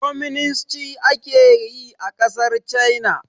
Kwaminisnci ake yi a ƙasar China